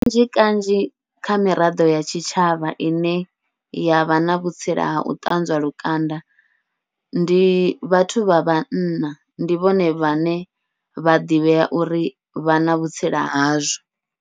Kanzhi kanzhi kha miraḓo ya tshitshavha ine ya vha na vhutsila hau ṱanzwa lukanda, ndi vhathu vha vhanna ndi vhone vhane vha ḓivhea uri vha na vhutsila hazwo.